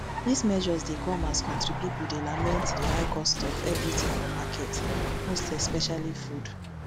dis measures dey come as kontri pipo dey lament di high cost of everything for market most especially food